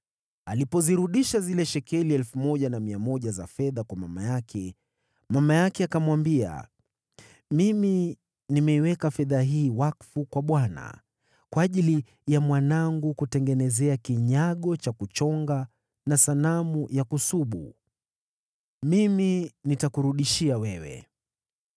Alipozirudisha zile shekeli 1,100 za fedha kwa mama yake, mama yake akamwambia, “Mimi nimeiweka fedha hii wakfu kwa Bwana kwa ajili ya mwanangu kutengenezea kinyago cha kuchonga na sanamu ya kusubu. Mimi nitakurudishia wewe.”